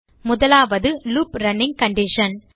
முதலாவது loop running condition